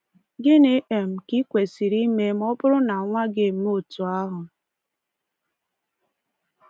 Gịnị um ka i kwesịrị ime ma ọ bụrụ na nwa gị emee otu ahụ?